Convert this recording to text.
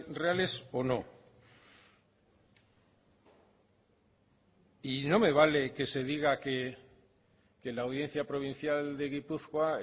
reales o no no me vale que se diga que la audiencia provincial de gipuzkoa